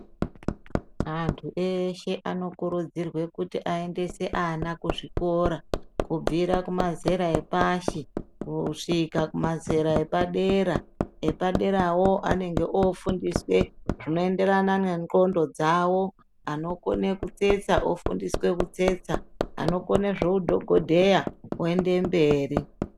Antu eshe anokurudzirwa kuti aendese ana kuzvikora kubvire kumazera epashi kosvika kumazera epadera epaderawo anenge ofundiswe zvinoenderana nenxlondo dzawo anokone kutsetsa ofundiswe kutsetsa anokone zveudhokodheya oendemberi.